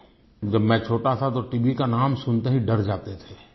हम जानते है जब मैं छोटा था तो टीबी का नाम सुनते ही डर जाते थे